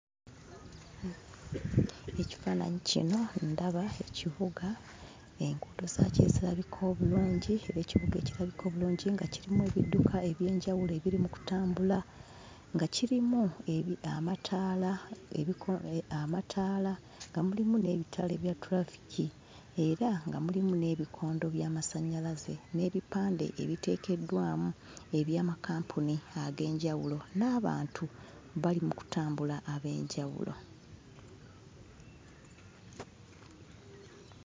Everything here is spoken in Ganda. Ekifaananyi kino ndaba ekibuga. Enguudo zaakyo ezirabika obulungi era ekibuga ekirabika obulungi nga kirimu ebidduka eby'enjawulo ebiri mu kutambula, nga kirimu ebi amataala ebikole amataala nga mulimu n'ebitaala ebya tulafiki era nga mulimu n'ebikondo by'amasannyalaze n'ebipande ebiteekeddwamu eby'amakampuni ag'enjawulo n'abantu bali mu kutambula ab'enjawulo.